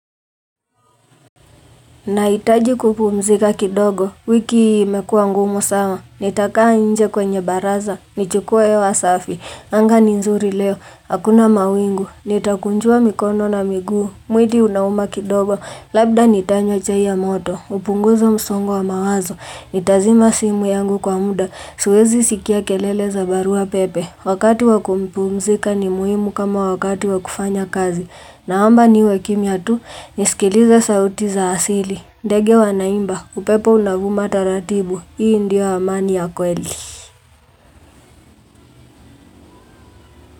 Nahitaji kupumzika kidogo, wiki imekua ngumu sama, nitakaa nje kwenye baraza, nichukue hewa safi, anga ni nzuri leo, hakuna mawingu, nitakunjua mikono na miguu, mwili unauma kidogo, labda nitanywa chai ya moto, kupunguza msongo wa mawazo, nitazima simu yangu kwa muda, siwezi sikia kelele za barua pepe. Wakati wakumpumzika ni muhimu kama wakati wakufanya kazi Naomba niwe kimya tu nisikilize sauti za asili. Ndege wanaimba, upepo unavuma taratibu. Hii ndio amani ya kweli.